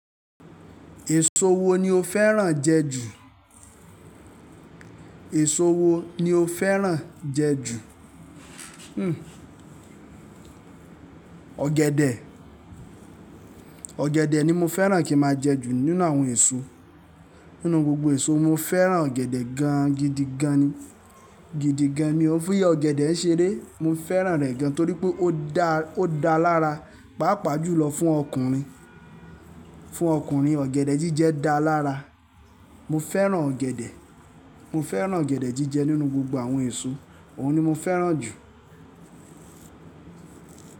Èso wo ni o fẹ́ràn jẹ ju? Èso wo ni o fẹ́ràn jẹ ju? Hmm ọ̀gẹ̀dẹ̀, ọ̀gẹ̀dẹ̀ ni mo fẹ́ràn kí máa jẹ ju nínú àwọn èso. Nínú gbogbo èso mo fẹ́ràn ọ̀gẹ̀dẹ̀ gan gidi gan ni, gidi gan ni. N o fi iyá ọ̀gẹ̀dẹ̀ ṣeré, mo fẹ́ràn rẹ̀ gan torí pé ó da, ó da lára, pàápàá jù lọ fún ọkùnrin, fún ọkùnrin ọ̀gẹ̀dẹ̀ jíjẹ da lára. Mo fẹ́ràn ọ̀gẹ̀dẹ̀, mo fẹ́ràn ọ̀gẹ̀dẹ̀ jíjẹ nínú gbogbo àwọn èso, òun ni mo fẹ́ràn jù.